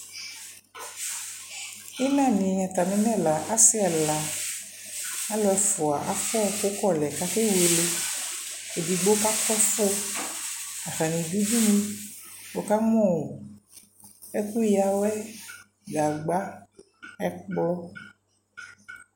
ila ni atami lɛ ɛla asii ɛla, alʋ ɛƒʋa aƒʋa ɛkʋ kɔ lɛ kɛwɛlɛ, ɛdigbɔ kakʋ ɛƒʋ atani dʋ ʋdʋnʋ wʋ kamʋ ɛkʋ yawɛ, gagba ɛkplɔ